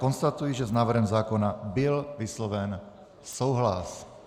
Konstatuji, že s návrhem zákona byl vysloven souhlas.